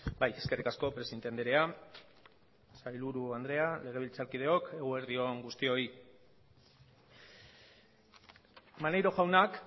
bai eskerrik asko presidente andrea sailburu andrea legebiltzarkideok eguerdi on guztioi maneiro jaunak